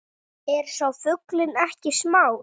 Er sá fuglinn ekki smár